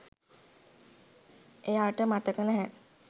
එයාට මතක නෑ